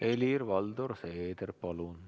Helir-Valdor Seeder, palun!